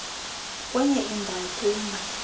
kwenye indawo kumba